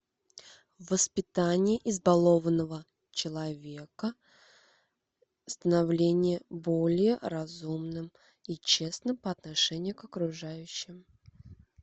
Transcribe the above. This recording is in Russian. воспитание избалованного человека становление более разумным и честным по отношению к окружающим